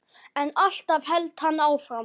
En alltaf hélt hann áfram.